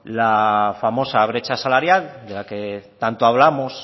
la famosa brecha salarial de la que tanto hablamos